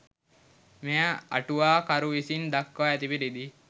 මෙය අටුවා කරු විසින් දක්වා ඇති පරිදි